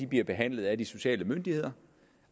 bliver behandlet af de sociale myndigheder